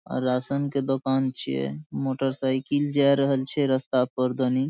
और राशन के दोकान छीये मोटर साइकिल जाए रहल छै रास्ता पर दनी।